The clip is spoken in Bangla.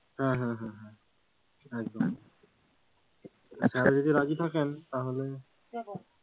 হ্যাঁ হ্যাঁ হ্যাঁ একদম যদি রাজি থাকেন তাহলে,